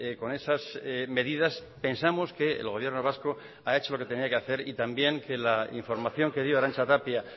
con esas medidas pensamos que el gobierno vasco ha hecho lo que tenía que hacer y también que la información que dio arantza tapia